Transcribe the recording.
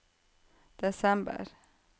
desember